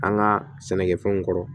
An ka sɛnɛkɛfɛnw kɔrɔ